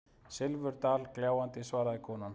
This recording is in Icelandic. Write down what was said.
Silfurdal gljáandi, svaraði konan.